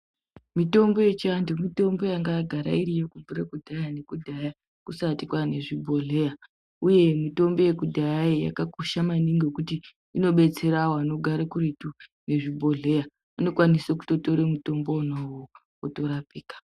Mitombo yechianthu, mitombo yanga yagara iriyo, kubvire kudhaya ne kudhaya kusati kwaane zvibhedhleya, uye mitombo yekudhayayo yakakosha maningi ngekuti inodetsera vanogara kuretu nezvibhedhleya, unokwanisa kutotora mutombo wona uwowo, otorapika.